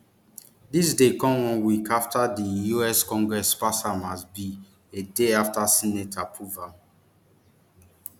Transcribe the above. dis dey come one week afta di us congress pass am as bill a day afta senate approve am